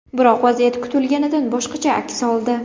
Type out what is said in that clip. Biroq vaziyat kutilganidan boshqacha aks oldi.